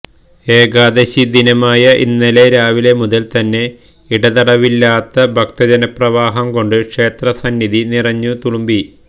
ഏകാദശി ദിനമായ ഇന്നലെ രാവിലെ മുതല് തന്നെ ഇടതടവില്ലാത്ത ഭക്തജനപ്രവാഹം കൊണ്ട് ക്ഷേത്ര സന്നിധി നിറഞ്ഞു തുളുമ്പി